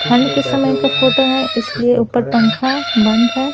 ठंड के समय का फोटो है इसलिए ऊपर पंखा बंद है।